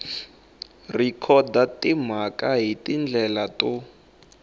rhekhoda timhaka hi tindlela to